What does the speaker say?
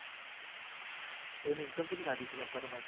ઈની emcom ચેટલી થાતી વોહે parmounth ની